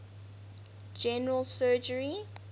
general surgery